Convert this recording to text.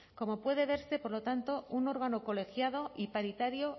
como puede verse por lo tanto un órgano colegiado y paritario